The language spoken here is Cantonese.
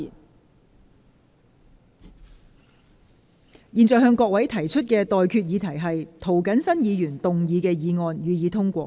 我現在向各位提出的待決議題是：涂謹申議員動議的議案，予以通過。